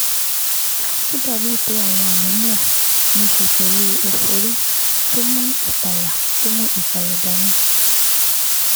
Ó dàbíi pé àwọn àmì náà níí ṣe pẹ̀lú ẹ̀fọ́rí tó mú ìpayà tó mú ìpayà dání